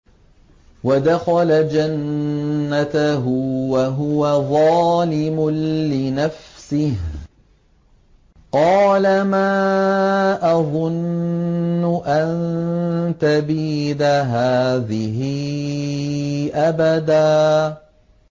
وَدَخَلَ جَنَّتَهُ وَهُوَ ظَالِمٌ لِّنَفْسِهِ قَالَ مَا أَظُنُّ أَن تَبِيدَ هَٰذِهِ أَبَدًا